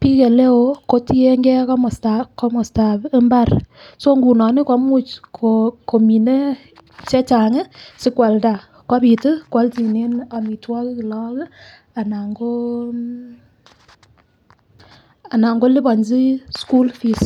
bik oleo kotiyengee komostab imbar so nguno nii komuch komine chechangi sikwalda kopit kwolchinen omitwokik lok kii anan ko anan ko liponchi school fees.